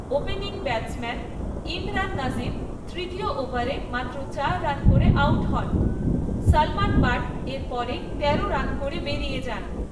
Opening batsman Imran Nazir তৃতীয় ওভারে মাত্র চার রান করে আউট হন, সালমান বাট এর পরেই তেরো রান করে বেরিয়ে যান।